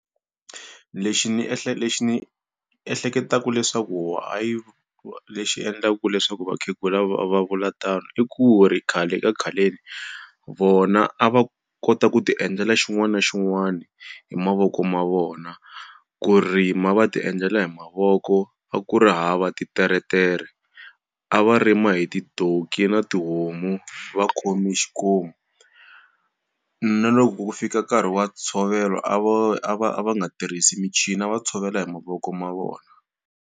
Lexi ndzi lexi ndzi ehleketaka leswaku why lexi endlaka leswaku vakhegula va va vula tano i ku ri khale ka khaleni, vona a va kota ku ti endlela xin'wana na xin'wana hi mavoko ma vona. Ku rima va ti endlela hi mavoko a ku ri hava titeretere a va rima hi ti-donkey na tihomu va khome xikomu. Na loko ku ku fika nkarhi wa ntshovelo a va a va a va nga tirhisa michini, a va tshovela hi mavoko ma vona.